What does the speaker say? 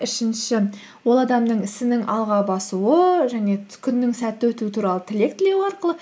үшінші ол адамның ісінің алға басуы және күннің сәтті өтуі туралы тілек тілеу арқылы